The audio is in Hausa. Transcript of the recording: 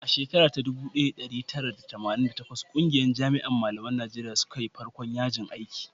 a shekara dubu daya da dari tara da tamanin da takwas ƙungiyar jami'an malaman najeriya suka yi farkon yajin aiki